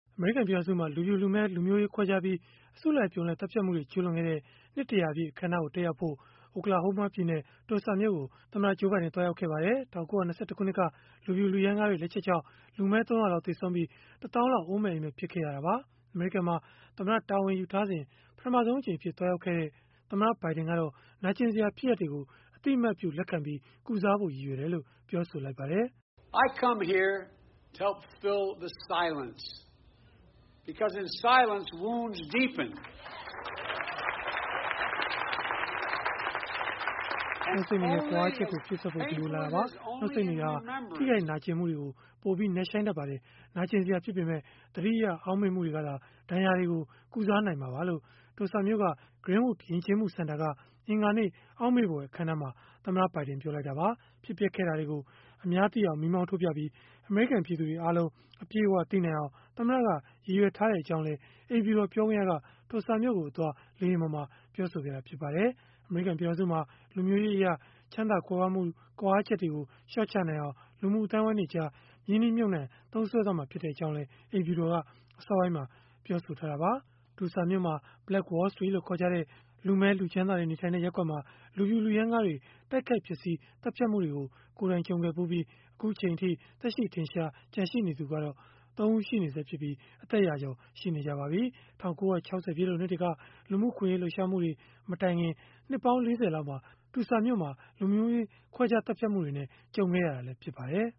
အမေရိကန် ပြည်ထောင်စုမှာ လူဖြူ၊ လူမည်းလူမျိုးရေး ခွဲခြားပြီး အစုလိုက်အပြုံလိုက် သတ်ဖြတ်မှုတွေ ကျုးလွန်ခဲ့တဲ့ နှစ် ၁၀၀ ပြည့် အခမ်းအနား တက်ရောက်ဖို့ Oklahoma ပြည်နယ် Tulsa မြို့ကို သမ္မတ Joe Biden သွားရောက်ခဲ့ပါတယ်။ ၁၉၂၁ ခုနှစ်က လူဖြူလူရမ်းကားတွေ လက်ချက်ကြောင့် လူမည်း ၃၀၀ လောက် သေဆုံးပြီး၊ ၁ သောင်းလောက် အိုးမဲ့အိမ်မဲ့ ဖြစ်ခဲ့ရတာပါ။ အမေရိကန်မှာ သမ္မတတာဝန် ယူထားစဉ် ပထမဆုံးအကြိမ်အဖြစ် သွားရောက်ခဲ့တဲ့ သမ္မတ ဘိုင်ဒင်ကတော့ နာကျင်စရာ ဖြစ်ရပ်တွေကို အသိအမှတ်ပြု လက်ခံပြီး ကုစားဖို့ ရည်ရွယ်တယ်လို့ ပြောပါတယ်။ “နှုတ်ဆိတ်နေတဲ့ ကွာဟချက်ကို ဖြည့်စွက်ဖို့ ဒီကိုလာခဲ့တာပါ၊ နှုတ်ဆိတ်နေတာဟာ ထိခိုက်နာကျင်မှုတွေ ပိုပြီးနက်ရှိုင်းတတ်ပါတယ်။ နာကျင်စရာဖြစ်ပေမဲ့ သတိရအောက်မေ့မှုတွေကသာ ဒဏ်ရာတွေကို ကုစားနိုင်မှာပါ။” လို့ Tulsa မြို့က Greenwood ယဉ်ကျေးမှု စင်တာက အင်္ဂါနေ့ အောက်မေ့ဖွယ်အခမ်းအနားမှာ သမ္မတ ဘိုင်ဒင် ပြောလိုက်တာပါ။ ဖြစ်ပျက်ခဲ့တာတွေကို အများသိအောင် မီးမောင်းထိုးပြပြီး၊ အမေရိကန် ပြည်သူတွေအားလုံး အပြည့်အဝသိနိုင်အောင် သမ္မတက ရည်ရွယ်ထားကြောင်းလည်း အိမ်ဖြူတော် ပြောခွင့်ရက Tulsa မြို့ကိုအသွား လေယာဉ်ပေါ်မှာ ပြောဆိုခဲ့ပါတယ်။ အမေရိကန် ပြည်ထောင်စုမှာ လူမျိုးရေးအရ ချမ်းသာကြွယ်ဝမှုတွေ ကွာဟချက်ကို လျှော့ချနိုင်အောင် လူမှုအသိုင်းအဝန်းတွေကြား ရင်းနှီးမြှုပ်နှံ သုံးစွဲသွားမှာ ဖြစ်ကြောင်းလည်း အိမ်ဖြူတော်က အစောပိုင်းမှာ ပြောဆိုထားတာပါ။ Tulsa မြို့က Black Wall Street လို့ ခေါ်ကြတဲ့ လူမည်း လူချမ်းသာတွေ နေထိုင်တဲ့ ရပ်ကွက်မှာ လူဖြူလူရမ်းကားတွေ တိုက်ခိုက်ဖျက်ဆီး သတ်ဖြတ်မှုတွေကို ကိုယ်တိုင် ကြုံခဲ့ဖူးပြီး အခုအချိန်အထိ သက်ရှိထင်ရှား ရှိနေသူကတော့ ၃ ဦး ကျန်နေဆဲဖြစ်ပြီး အသက်ရာကျော် ရှိနေကြပါပြီ။ ၁၉၆၀ ပြည့်လွန်နှစ်တွေက လူမှုအခွင့်အရေး လှုပ်ရှားမှုတွေ မတိုင်ခင် နှစ်ပေါင်း ၄၀ လောက်မှာ Tulsa မြို့က လူမျိုးရေးခွဲခြားသတ်ဖြတ်မှုနဲ့ ကြုံခဲ့ရတာလည်း ဖြစ်ပါတယ်